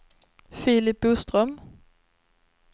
Filip Boström